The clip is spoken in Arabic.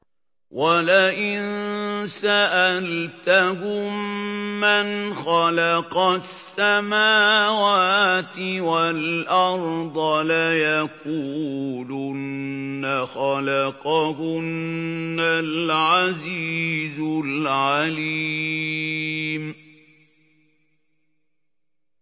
وَلَئِن سَأَلْتَهُم مَّنْ خَلَقَ السَّمَاوَاتِ وَالْأَرْضَ لَيَقُولُنَّ خَلَقَهُنَّ الْعَزِيزُ الْعَلِيمُ